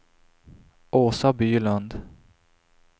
Åsa Bylund